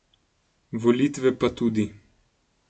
Volitve pa tudi.